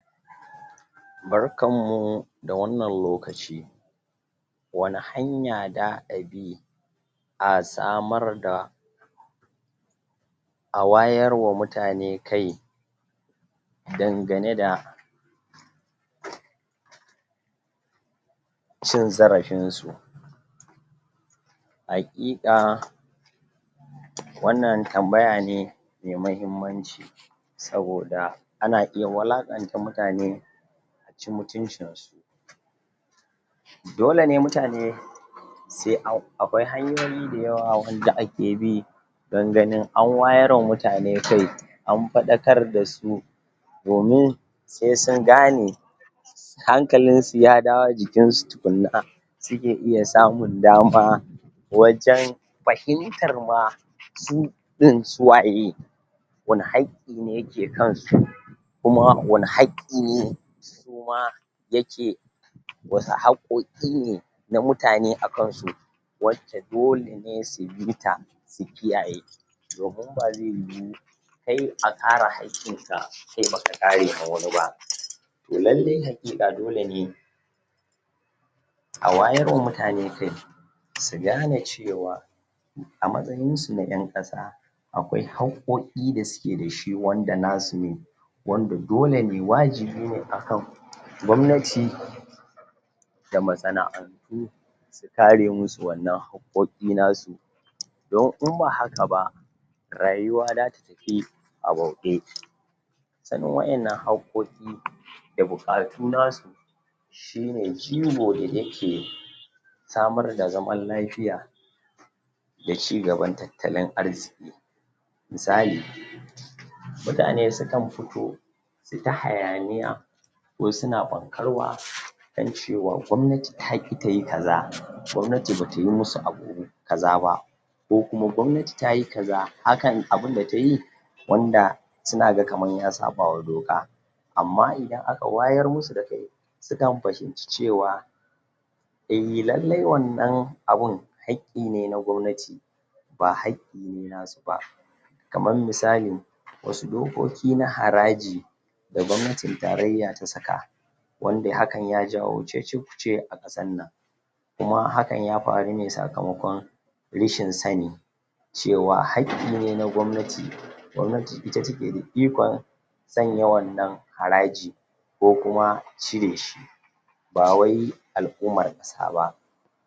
Barkanmu da wannan lokaci wane hanya da abi a samar da a wayarwa mutane kai dangane da cin zarafin su haƙiƙa wannan tambaya ne me mahimmanci saboda ana iya walaƙanta mutane aci mutuncinsu dole ne mutane se an, akwai hanyoyi dayawa wanda ake bi don ganin an wayarwa mutane kai an faɗakar dasu domin sai sungane hankalinsu ya dawo jikinsu tukunna suke iya samun dama wajen fahintar ma su ɗin suwaye wane haƙƙi ne yake kansu kuma wane haƙƙi ne suma yake wasu haƙƙoƙi ne na mutane akansu wacce dole ne su bita su kiyaye domin ba zai yiwu kai a kare haƙƙinka kai baka kare na wani ba to lallai haƙiƙa dole ne a wayarwa mutane kai su gane cewa a matsayinsu na ƴan ƙasaƙ akwai haƙƙoƙi da suke dashi, wanda nasu ne wanda dole ne, wajibi ne akan gwamnati da masana'antu su kare musu wannan haƙƙoƙi nasu don in ba haka ba rayuwa data tafi a bauɗe sanin waƴannan haƙƙoƙi da buƙatu nasu shine jigo da yake samar da zaman lafiya da cigaban tattalin arziƙi misali mutane sukan fito su ta hayaniya wai suna fankarwa don cewa gwamnati taƙi tayi kaza gwamnati batayi musu abu kaza ba ko kuma gwamnati tayi kaza, hakan abinda tayi wanda suna ga kaman ya saɓawa doka amma idan aka wayar musu da kai sukan fahinci cewa eh lallai wannan abin haƙƙine na gwamnati ba haƙƙine nasu ba kaman misali wasu dokoki na haraji da gwamnatin tarayya ta saka wanda hakan ya jawo cece kuce a ƙasannan kuma hakan ya faru ne sakamakon reshin sani cewa haƙƙine na gwamnati gwamnati ita take da ikon sanya wannan haraji ko kuma cireshi bawai al'ummar ƙasa ba